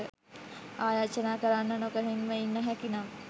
ආයාචනා කරන්න නොගොහින්ම ඉන්න හැකිනම්